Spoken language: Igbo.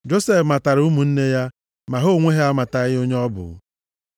Josef matara ụmụnne ya, ma ha onwe ha amataghị onye ọ bụ.